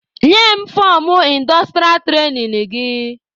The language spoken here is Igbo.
Nye m fọmụ indostrịa trainin gị!